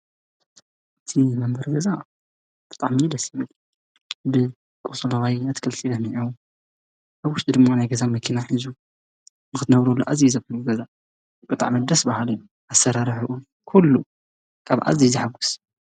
ፅን ኢሉ ንዝነብር ገዛ ብጣዕሚ እዩ ደስ ዝብል ግን ሓምላዋይ ኣትክልቲ ለሚዑ ኣብ ውሽጢ ድማ ናይ ገዛ መኪና ሒዙ ንክትነብርሉ አዝዩ እዩ ዘኩርዕ ገዛ ብጣዕሚ ደስ በሃሊ ኣሰራርሕኡ ኩሉ ካብ አዝዩ ዘሕጉስ።